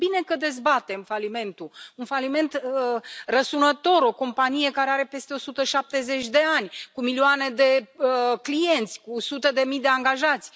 Este bine că dezbatem falimentul, un faliment răsunător, o companie care are peste 170 de ani, cu milioane de clienți, cu sute de mii de angajați.